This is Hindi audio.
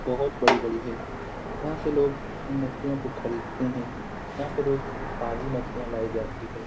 बहोत बड़ी-बड़ी है यहां से लोग इन मछलियों को खरीदते हैं यहां पे रोज ताजी मछलियां लाई जाती है।